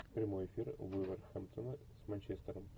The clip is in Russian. прямой эфир вулверхэмптона с манчестером